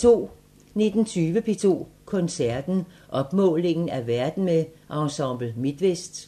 19:20: P2 Koncerten – Opmålingen af verden med Ensemble Midtvest